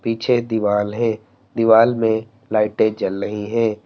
पीछे दीवाल है दीवाल में लाइटे जल रही हैं।